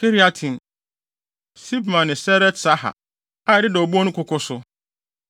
Kiriataim, Sibma ne Seret-Sahar, a ɛdeda obon no koko so,